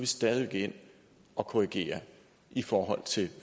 stadig væk ind og korrigere i forhold til